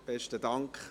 Besten Dank.